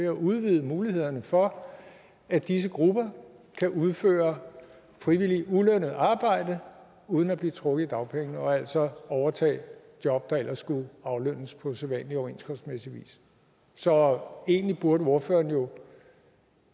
at udvide mulighederne for at disse grupper kan udføre frivilligt ulønnet arbejde uden at blive trukket i dagpengene og altså overtage job der ellers skulle aflønnes på sædvanlig overenskomstmæssig vis så egentlig burde ordføreren jo